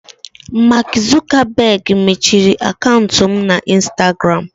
Mark Zuckerberg mechiri akaụntụ m na instagram.